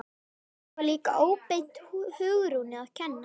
Og það var líka óbeint Hugrúnu að kenna.